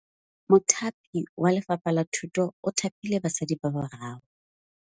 Mothapi wa Lefapha la Thutô o thapile basadi ba ba raro.